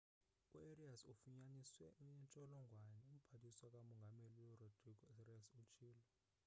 u-arias ufunyaniswe enentsholongwane umphathiswa ka mongameli urodrigo arias utshilo